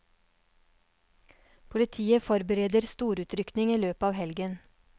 Politiet forbereder storutrykning i løpet av helgen.